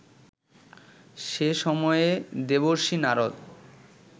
সেই সময়ে দেবর্ষি নারদ